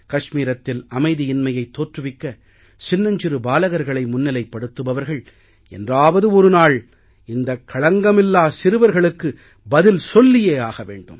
கஷ்மீரத்தில் அமைதியின்மையைத் தோற்றுவிக்க சின்னஞ்சிறு பாலகர்களை முன்னிலைப்படுத்துபவர்கள் என்றாவது ஒரு நாள் இந்த களங்கமில்லா சிறுவர்களுக்கு பதில் சொல்லியே ஆக வேண்டும்